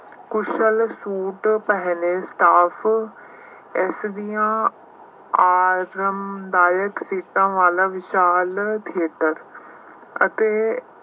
ਕੁਸ਼ਲ suit ਪਹਿਨੇ staff ਇਸ ਦੀਆਂ ਆਰਾਮਦਾਇਕ ਸੀਟਾਂ ਵਾਲਾ ਵਿਸ਼ਾਲ ਖੇਤਰ ਅਤੇ